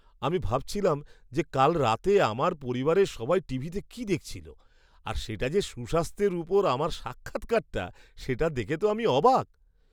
আমি ভাবছিলাম যে কাল রাতে আমার পরিবারের সবাই টিভিতে কি দেখছিল, আর সেটা যে সুস্বাস্থ্যের উপর আমার সাক্ষাৎকারটা, সেটা দেখে তো আমি অবাক!